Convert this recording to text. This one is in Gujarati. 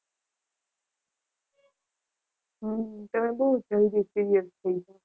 હમ તમે બહુ જલ્દી serious થઈ જાવ.